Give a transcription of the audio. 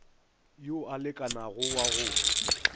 yo a lekanago wa go